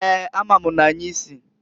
Eeǃ A ma m n'anyị si.